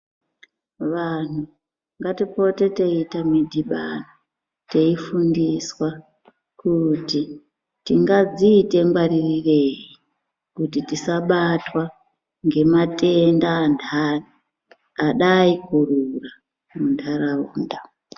Vanhu ngatipote teiita midhibano teifundiswa kuti tingadziita ngwaririrei kuti tisabatwa ngematenda anhani adai kurura muntaraunda.